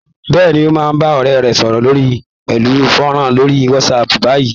Bẹ́ẹ̀ni, ó máa bá ọ̀rẹ́ rẹ̀ sọ̀rọ̀ pẹ̀lú fọ́nrán lórí Whatsapp báyìí